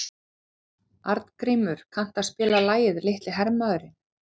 Arngrímur, kanntu að spila lagið „Litli hermaðurinn“?